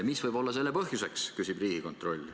Mis võib olla selle põhjuseks, küsib Riigikontroll.